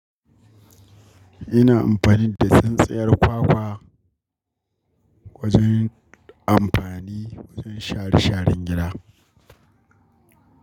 Ina amfani da tsintsiyar kwakwa wajen amfani wajen shara sharan gida.